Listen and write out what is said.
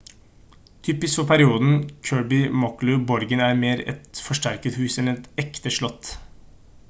typisk for perioden kirby muxloe borgen er mer et forsterket hus enn et ekte slott